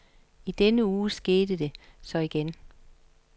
I denne uge skete det så igen.